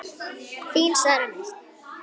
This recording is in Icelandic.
Þín Sara Mist.